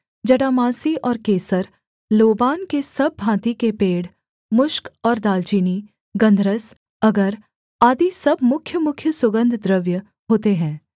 जटामासी और केसर लोबान के सब भाँति के पेड़ मुश्क और दालचीनी गन्धरस अगर आदि सब मुख्यमुख्य सुगन्धद्रव्य होते हैं